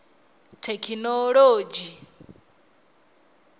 thekinoḽodzhi